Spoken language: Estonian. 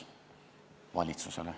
Valitsusele.